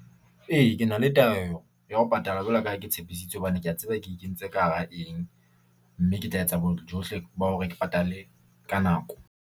Ee, ke na le ya ho patala jwalo ka ha ke tshepisitse, hobane ke a tseba ke kentse ka hara eng mme ke tla etsa bojohle ba hore ke patale ka nako.